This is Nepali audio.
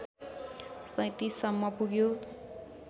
३७ सम्म पुग्यो